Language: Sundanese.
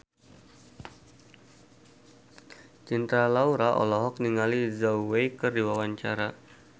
Cinta Laura olohok ningali Zhao Wei keur diwawancara